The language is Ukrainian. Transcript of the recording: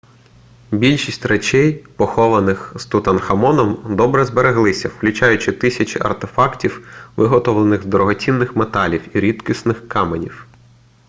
більшість речей похованих з тутанхамоном добре збереглися включаючи тисячі артефактів виготовлених з дорогоцінних металів і рідкісних каменів